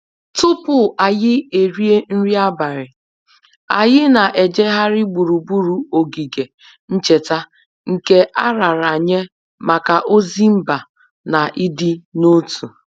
Tupu anyị erie nri abalị, anyị na-ejegharị gburugburu ogige ncheta nke a raara nye maka ozi mba na ịdị n'otu